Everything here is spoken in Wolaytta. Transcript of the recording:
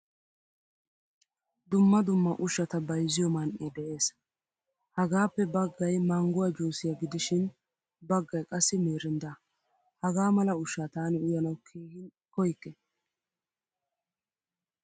Dumma dumma ushshata bayzziyo man'ee de'ees. Hagaappe baggaay mangguwaa juusiyaa gidishin baggay qassi mirindda. Haggaa mala ushshaa taani uyyanawu keehin koykke.